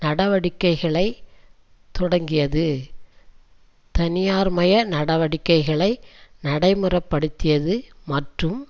நடவடிக்கைளை தொடக்கியது தனியார்மய நடவடிக்கைகளை நடைமுறைப்படுத்தியது மற்றும்